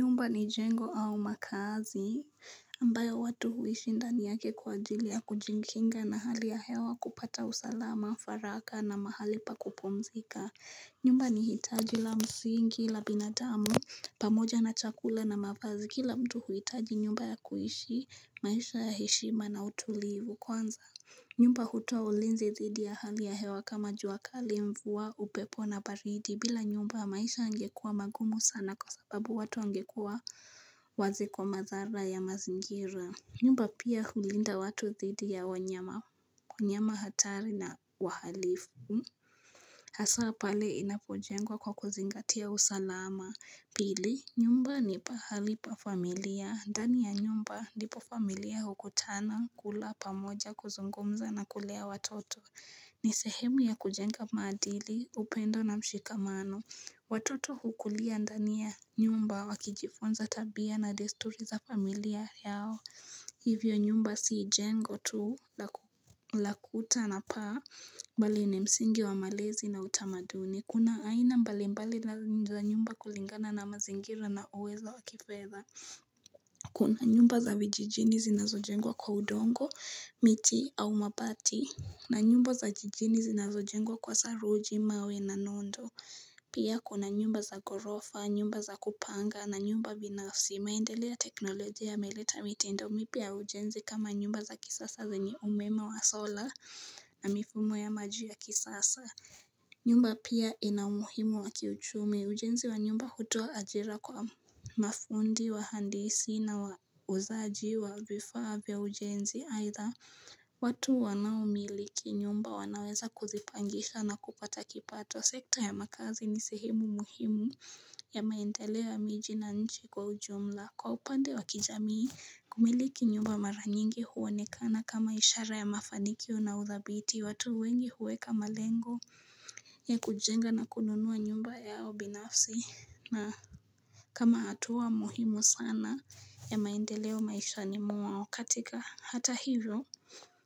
Nyumba ni jengo au makazi ambayo watu huishi ndani yake kwa ajilia kujinkinga na hali ya hewa kupata usalama, faraka na mahali pa kupomzika. Nyumba ni hitaji la msingi la binadamu pamoja na chakula na mavazi. Kila mtu huitaji nyumba ya kuishi maisha ya heshima na utulivu kwanza. Nyumba hutoa ulinzi dhidi ya hali ya hewa kama juakali mvua upepo na baridi bila nyumba maisha yangekua magumu sana kwa sababu watu wangekua wazi kwa mazara ya mazingira nyumba pia hulinda watu dhidi ya wanyama hatari na wahalifu Hasa pale inapojengwa kwa kuzingatia usalama Pili nyumba ni pahalipa familia. Ndani ya nyumba ndipo familia hukutana, kula, pamoja, kuzungumza na kulea watoto. Ni sehemu ya kujenga mmadili, upendo na mshikamano. Watoto hukulia ndani ya nyumba wakijifunza tabia na desturi za familia yao. Hivyo nyumba si jengo tu lakuta na paa bali ni msingi wa malezi na utamaduni. Kuna aina mbali mbali za nyumba kulingana na mazingira na uwezo wakifedha Kuna nyumba za vijijini zinazo jengwa kwa udongo, miti au mabati na nyumba za jijini zinazo jengwa kwa saruji mawe na nondo Pia kuna nyumba za gorofa, nyumba za kupanga, na nyumba binafsi Maendele ya teknolojia yameleta mitindo, mipya ya ujenzi kama nyumba za kisasa zenye umeme wa sola na mifumo ya maji ya kisasa nyumba pia ina umuhimu wakiuchumi ujenzi wa nyumba kutuoa ajira kwa mafundi wahandisi na wauzaji wa vifaa vya ujenzi aidha watu wanao miliki nyumba wanaweza kuzipangisha na kupata kipato sekta ya makazi ni sehemu muhimu ya maendeleo ya miji na nchi kwa ujumla Kwa upande wakijamii Kumiliki nyumba maranyingi huonekana kama ishara ya mafanikio naudhabiti watu wengi huweka malengo ya kujenga na kununuwa nyumba yao binafsi na kama hatua muhimu sana ya maendeleo maishani mwao katika hata hivyo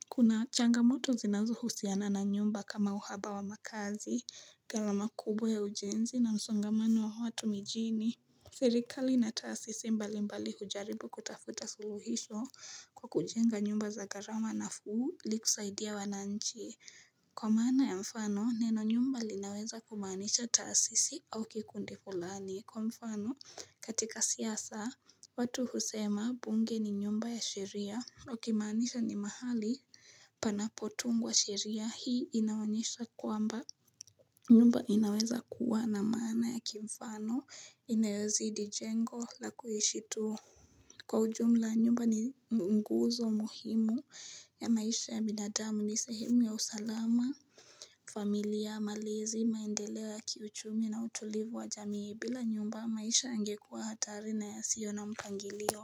Kuna changamoto zinazo husiana na nyumba kama uhaba wa makazi, garama kubwa ya ujenzi na msongamano wa watu mijini Serikali na taasisi mbali mbali hujaribu kutafuta suluhisho kwa kujenga nyumba za garama nafuu ilikusaidia wananchi Kwa maana ya mfano neno nyumba linaweza kumaanisha taasisi au kikundi fulani Kwa mfano katika siasa watu husema bunge ni nyumba ya sheria wakimaanisha ni mahali panapo tungwa sheria hii inaonyesha kwamba nyumba inaweza kuwa na maana ya kimfano inayozidi jengo la kuishitu Kwa ujumla nyumba ni mguzo muhimu ya maisha ya binadamu ni sehimu ya usalama familia malezi maendeleo ya kiuchumi na utulivu wa jamii bila nyumba maisha yangekuwa hatari na ya sio na mpangilio.